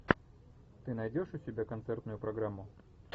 ты найдешь у себя концертную программу